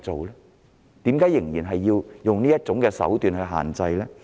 為甚麼仍然要以此手段作出限制？